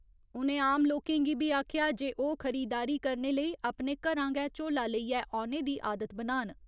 उ'नें आम लोकें गी बी आखेआ जे ओह् खरीददारी करने लेई अपने घरां गै झोला लेईये औने दी आदत बनान।